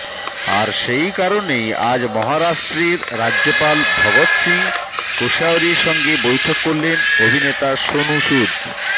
আর সেই কারনেই আজ মহারাষ্ট্রের রাজ্যপাল ভগৎ সিং কোশায়রির সঙ্গে বৈঠক করলেন অভিনেতা সোনু সুদ